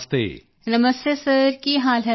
ਨਮਸਤੇ sir ਕੀ ਹਾਲ ਹੈ ਤੁਹਾਡਾ